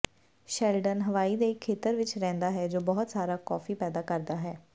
Sheldon Hawaii ਦੇ ਇਕ ਖੇਤਰ ਵਿਚ ਰਹਿੰਦਾ ਹੈ ਜੋ ਬਹੁਤ ਸਾਰਾ ਕੌਫੀ ਪੈਦਾ ਕਰਦਾ ਹੈ